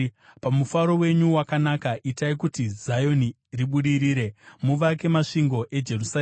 Pamufaro wenyu wakanaka, itai kuti Zioni ribudirire; muvake masvingo eJerusarema.